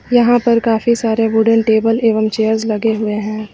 यहां पर काफी सारे वुडन टेबल एवं चेयर्स लगे हुए हैं।